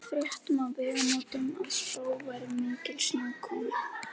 Við fréttum á Vegamótum að spáð væri mikilli snjókomu.